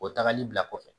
O tagali bila kɔfɛ